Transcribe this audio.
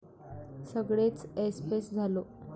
सगळेच ऐसपैस झालो.